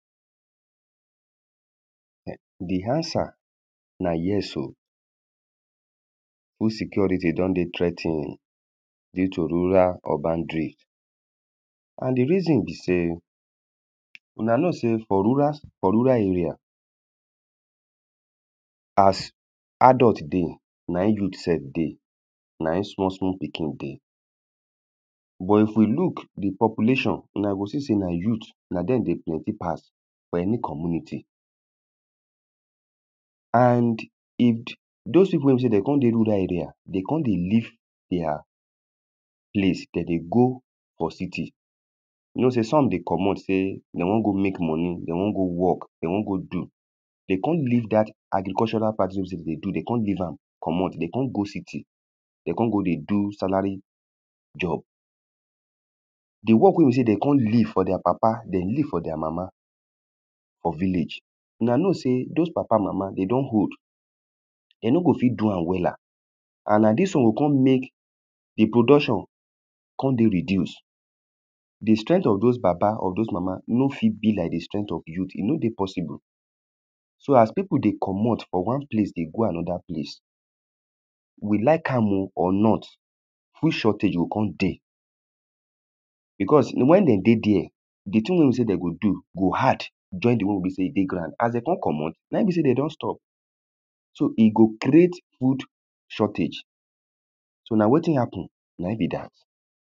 um the answer na yes o insecurity don dey threa ten due to rural husbandry. And the reason be sey huna know sey for rural, for rural area as adult dey na im youth self dey. Na im small small pikin dey. But if we look the population, huna go see sey na youth na dem dey plenty pass for any community. And dos people wey be sey de con dey rural area, de con dey leave their place. De dey for city. You know sey some dey comot sey de wan go make money, de wan go work, de wan go do. De con leave dat agricultural practices wey be sey de dey do. De con leave am comot. De con go city. De con go dey do salary job. The work wey be sey de con leave for their papa, de leave for their mama for village. una know dos papa mama they don old. The no go fit do am wella. And na dis one go con make the production con dey reduce. The strength of dos baba of dos mama no fit be like the strength of youth. E no dey possible. So as people dey comot from one place dey go another place, we like am oh or not food shortage go con dey because when de dey dere the things wey be de go do go add join the one wey be sey e dey ground. As de don comot, na im be sey de don stop. So e go create food shortage. So na wetin happen na im be dat.